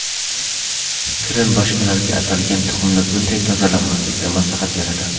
Krin boshqalarga atalgan tuxumni bunday tozalamaslikni maslahat beradi.